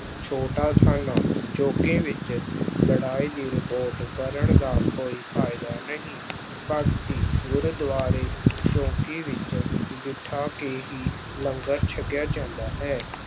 ਛੋਟਾ ਥਾਣਾ, ਚੌਂਕੀ ਵਿੱਚ ਲੜਾਈ ਦੀ report ਕਰਨ ਦਾ ਕੋਈ ਫ਼ਾਇਦਾ ਨਹੀਂ, ਪੰਗਤੀ, ਗੁਰਦੁਆਰੇ ਚੌਂਕੀ ਵਿੱਚ ਬਿਠਾ ਕੇ ਹੀ ਲੰਗਰ ਛਕਿਆ ਜਾਂਦਾ ਹੈ।